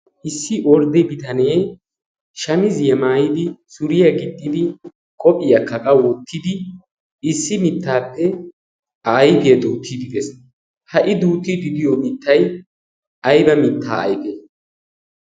issi ordde bitanee shamiziyaa maayidi suuriyaa giixxidi qophiyaakka woottidi issi miittappe a ayfiyaa duuttid de'ees. ha i duuttidi diyoo miittay ayba miittee?